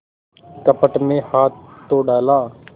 कपट में हाथ तो डाला